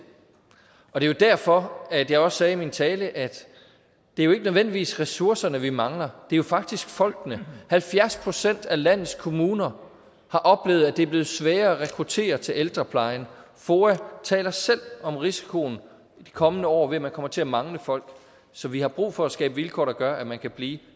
er derfor at jeg også sagde i min tale at det jo ikke nødvendigvis er ressourcerne vi mangler det er faktisk folkene halvfjerds procent af landets kommuner har oplevet at det er blevet sværere at rekruttere til ældreplejen foa taler selv om risikoen i de kommende år for at man kommer til at mangle folk så vi har brug for at skabe vilkår der gør at man kan blive